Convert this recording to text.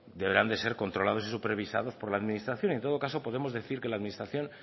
deberán de ser controlados y supervisados por la administración en todo caso podemos decir que la administración